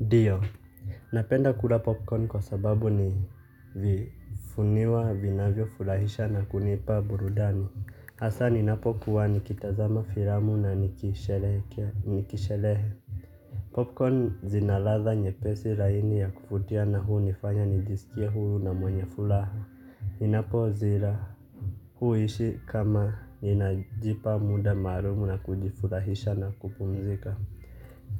Ndiyo. Napenda kula popcorn kwa sababu ni vifuniwa vinavyofurahisha na kunipa burudani. Hasa ninapokuwa nikitazama filamu na niki sherehekea. Popcorn zina ladha nyepesi laini ya kuvutia na hunifanya nijisikie huru na mwenye furaha. Ninapozila huhisi kama ninajipa muda maalum na kujifurahisha na kupumzika.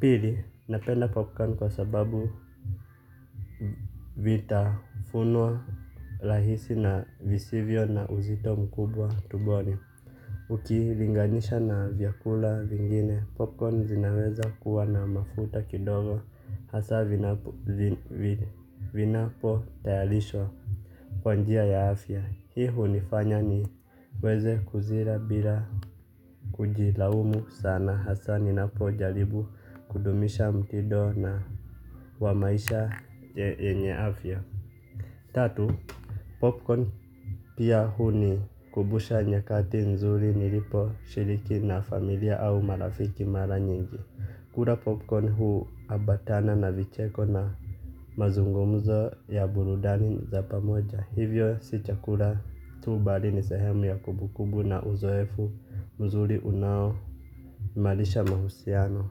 Pili. Napenda popcorn kwa sababu. Vitafunwa rahisi na visivyo na uzito mkubwa tumboni ukilinganisha na vyakula vingine popcorn zinaweza kuwa na mafuta kidogo hasa vinapo tayarishwa kwa njia ya afya hii hunifanya niweze kuzila bila kujilaumu sana hasa ninapojaribu kudumisha mtindo wa maisha yenye afya. Tatu, popcorn pia hunikubusha nyakati nzuri niliposhiriki na familia au marafiki mara nyingi. Kula popcorn huambatana na vicheko na mazungumzo ya burudani za pamoja. Hivyo si chakula tu bali ni sehemu ya kumbu kumbu na uzoefu mzuri unao imarisha mahusiano.